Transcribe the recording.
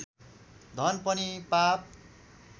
धन पनि पाप